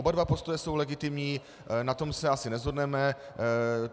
Oba dva postoje jsou legitimní, na tom se asi neshodneme.